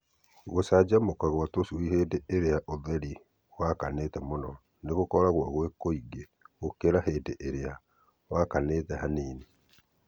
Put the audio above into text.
Gũcanjamũka gwa tũcui hĩndĩ ĩrĩa ũtheri wakanĩte mũno nĩ gũkoragwo gwĩ kũingĩ gũkĩra hĩndĩ ĩrĩa wakanĩte hanini.